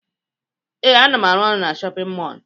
Ee, ana m arụ ọrụ na shọpịn mọọlụ.